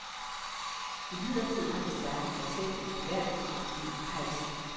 Imidlertid har de skaffet sig selv et troværdighedsproblem på halsen.